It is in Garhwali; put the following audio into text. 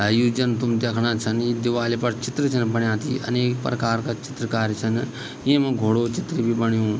अ यू जन तुम दयेखडां छन यी दिवाली फर चित्र छन बण्या त ये अनेक प्रकार का चित्रकारी छन येमा घोड़ो चित्र भी बण्यू।